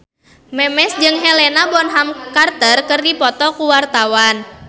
Memes jeung Helena Bonham Carter keur dipoto ku wartawan